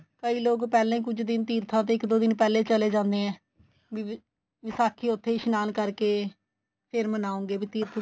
ਕਈ ਲੋਕ ਪਹਿਲਾਂ ਈ ਕੁੱਝ ਦਿਨ ਤੀਰਥਾ ਤੇ ਇੱਕ ਦੋ ਦਿਨ ਪਹਿਲਾਂ ਈ ਚਲੇ ਜਾਂਦੇ ਏ ਬੀ ਵੀ ਵਿਸਾਖੀ ਉਥੇ ਈ ਇਸ਼ਨਾਨ ਕਰਕੇ ਫੇਰ ਮਨਾਉਗੇ ਵੀ ਤੀਰਥ